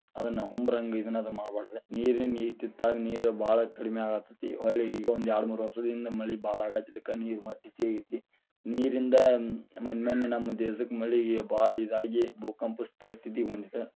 ಅದನ್ನ ಹುಂಬರಂಗ ಇದನ್ನ ಅದು ಮಾಡ್ಬಾರದ, ನೀರಿನ ಇತ್ತಿತ್ತಗ ನೀರ ಬಾಳ ಕಡಿಮಿ ಆಗಾತೇತಿ ಹೊಳ್ಳಿ ಈಗ ಒಂದ್ಯಾರಡ ಮೂರ ವರ್ಷದಿಂದ ಮಳಿ ಬಾಳ ಆಗಾತಿದ್ದಕ ನೀರ ಮತ್ತ ಹೆಚ್ಚಗಿ ಆಗೇತಿ, ನೀರಿಂದ ಮನ್ನಿ ಮನ್ನೆ ನಮ್ಮ ದೇಶಕ್ಕ ಮಳಿಗೆ ಬಾಳ ಇದಾಗಿ ಭೂಕಂಪ ಪರಿಸ್ತಿತಿಗೆ ಬಂದಿತ್ತ.